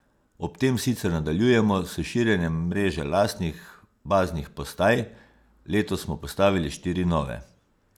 Ob tem sicer nadaljujemo s širjenjem mreže lastnih baznih postaj, letos smo postavili štiri nove.